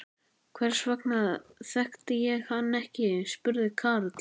Hvers vegna þekkti ég hann ekki? spurði Karl.